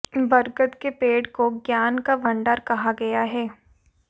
बरगद के पेड़ को ज्ञान का भंडार कहा गया है